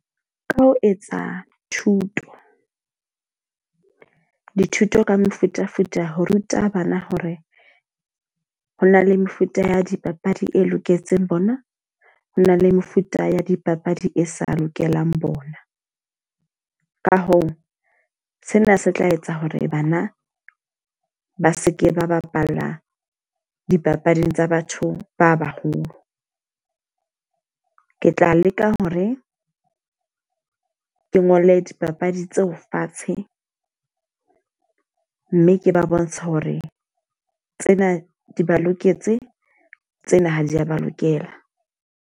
Ka ho etsa thuto, dithuto ka mefutafuta ho ruta bana hore ho na le mefuta ya dipapadi e loketseng bona. Ho na le mefuta ya dipapadi e sa lokelang bona. Ka hoo, sena se tla etsa hore bana ba seke ba bapalla dipapading tsa batho ba baholo. Ke tla leka hore ke ke ngole dipapadi tseo fatshe. Mme ke ba bontshe hore tsena di ba loketse, tsena ha di a ba lokela.